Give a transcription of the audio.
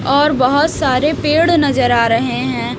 और बहोत सारे पेड़ नजर आ रहे हैं।